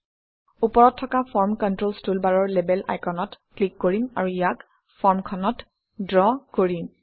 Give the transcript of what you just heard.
ওপৰত থকা form controls টুলবাৰৰ লেবেল আইকনত ক্লিক কৰিম আৰু ইয়াক ফৰ্মখনত ড্ৰ কৰিম